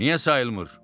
Niyə sayılmır?